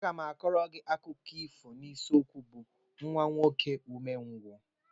M ga-kọọrọ gị akụkọ ifo n'isiokwu bụ "Nwa nwoke umengwụ"